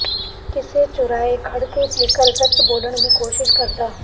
ਕਿਸੇ ਚੁਰਾਹੇ ਖੜ ਕੇ ਜੇਕਰ ਸੱਚ ਬੋਲਣ ਦੀ ਕੋਸ਼ਿਸ਼ ਕਰਦਾ